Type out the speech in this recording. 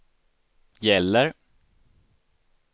gäller